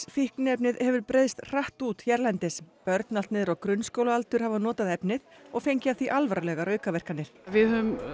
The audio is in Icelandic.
fíkniefnið hefur breiðst hratt út hérlendis börn allt niður á grunnskólaaldur hafa notað efnið og fengið af því alvarlegar aukaverkanir við höfum